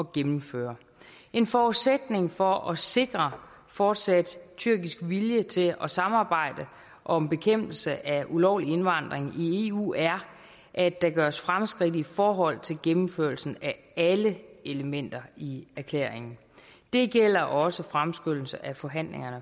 gennemføre en forudsætning for at sikre fortsat tyrkisk vilje til at samarbejde om bekæmpelse af ulovlig indvandring i eu er at der gøres fremskridt i forhold til gennemførelsen af alle elementer i erklæringen det gælder også fremskyndelse af forhandlingerne